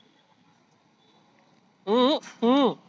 हम्म हम्म